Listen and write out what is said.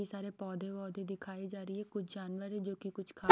सारे पौधे-वौधे दिखाए जा रही है कुछ जानवर है जो कि कुछ खा --